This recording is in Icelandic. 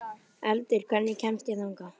Eldur, hvernig kemst ég þangað?